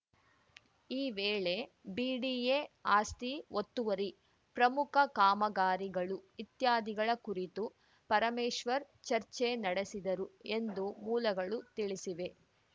ಈ ವೇಳೆ ಬಿಡಿಎ ಆಸ್ತಿ ಒತ್ತುವರಿ ಪ್ರಮುಖ ಕಾಮಗಾರಿಗಳು ಇತ್ಯಾದಿಗಳ ಕುರಿತು ಪರಮೇಶ್ವರ್‌ ಚರ್ಚೆ ನಡೆಸಿದರು ಎಂದು ಮೂಲಗಳು ತಿಳಿಸಿವೆ